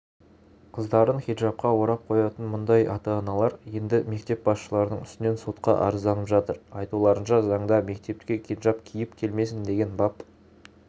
қыздарын хиджабқа орап қоятын мұндай ата-аналар енді мектеп басшыларының үстінен сотқа арызданып жатыр айтуларынша заңда мектепке хиджаб киіп келмесін деген бап